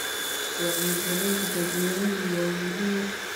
Wacyigelinta dadweynuhu waa muhiim.